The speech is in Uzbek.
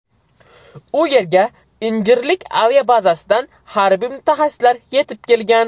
U yerga Injirlik aviabazasidan harbiy mutaxassislar yetib kelgan.